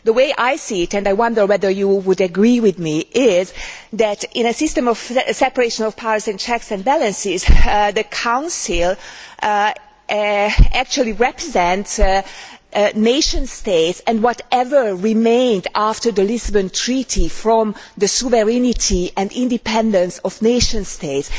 The way I see it and I wonder whether colleagues would agree with me is that, in a system of separation of powers and checks and balances, the Council actually represents nation states, and whatever remains after the Lisbon Treaty of the sovereignty and independence of nation states.